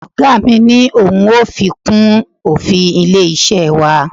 Oga mi ni ohun yóò fi kún òfin ilé-iṣẹ́ wa.